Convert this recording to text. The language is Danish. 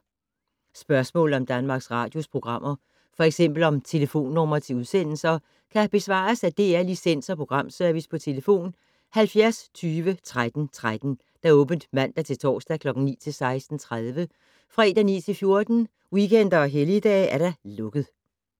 Spørgsmål om Danmarks Radios programmer, f.eks. om telefonnumre til udsendelser, kan besvares af DR Licens- og Programservice: tlf. 70 20 13 13, åbent mandag-torsdag 9.00-16.30, fredag 9.00-14.00, weekender og helligdage: lukket.